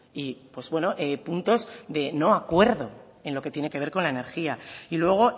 y puntos de no acuerdo en lo que tiene que ver con la energía y luego